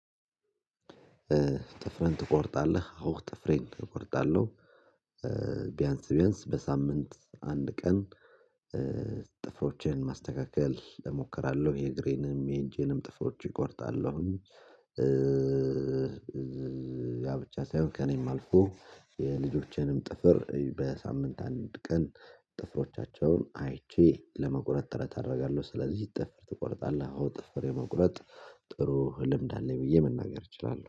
ጥፍርህን ትቆርጣለህ? አዎ ጥፍሬን እቆርጣለሁ ቢያንስ ቢያንስ በሳምንት አንድ ቀን ጥፍሮችን ማስተካከል እሞክራለሁ የእግሬንም የእጄንም ጥፍሮች እቆርጣለሁኝ። ያ ብቻ ሳይሆን ከእኔም አልፎ የልጆቼንም ጥፍር በሳምንት አንድ ቀን ጥፍሮቻቸውን አይቼ ለመቁረጥ ጥረት አደርጋለሁ። ስለዚህ ጥፍር ትቆርጣለህ? አዎ ጥፍር የመቁረጥ ጥሩ ህ ልምድ አለኝ ብዬ መናገር እችላለሁ